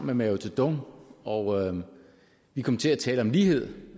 med mao zedong og vi kom til at tale om lighed